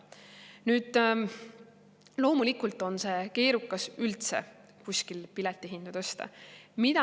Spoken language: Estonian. Nüüd, loomulikult on keerukas üldse kuskil piletihinda tõsta.